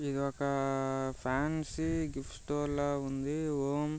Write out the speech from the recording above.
ఇదొక fancy gift store లా ఉంది. ఓం --